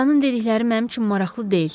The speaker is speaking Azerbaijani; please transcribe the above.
Atanın dedikləri mənim üçün maraqlı deyil.